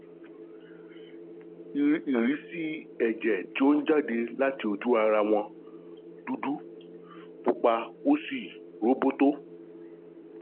Ìrísí ẹ̀jẹ̀ tí ó ń jáde láti ojú-ara wọn dúdú, pupa, ó sì róbótó